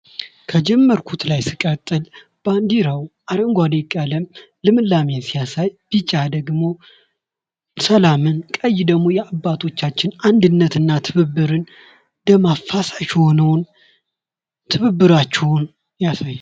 ከጀመርኩት ላይ ስቀጥል ባንዲራው አረንጓዴ ቀለም ልምላሜን ሲያሳይ ቢጫ ደግሞ ሰላምን ቀይ ደግሞ የአባቶቻችንን አንድነት እና ትብብርን ደም አፋሳሽ የሆነውን ትብብራቸውን ያሳያል ።